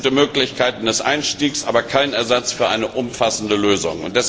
Alles gute Möglichkeiten des Einstiegs, aber kein Ersatz für eine umfassende Lösung.